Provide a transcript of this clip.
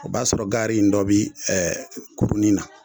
O b'a sɔrɔ gaari in dɔ bɛ kurunin na